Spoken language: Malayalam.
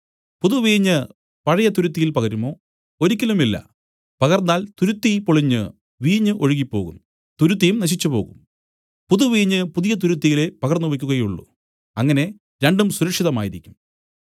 പുതുവീഞ്ഞ് പഴയ തുരുത്തിയിൽ പകരുമോ ഒരിക്കലുമില്ല പകർന്നാൽ തുരുത്തി പൊളിഞ്ഞു വീഞ്ഞ് ഒഴുകിപ്പോകും തുരുത്തിയും നശിച്ചുപോകും പുതുവീഞ്ഞ് പുതിയ തുരുത്തിയിലേ പകർന്നു വെയ്ക്കുകയുള്ളൂ അങ്ങനെ രണ്ടും സുരക്ഷിതമായിരിക്കും